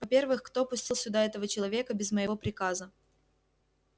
во-первых кто пустил сюда этого человека без моего приказа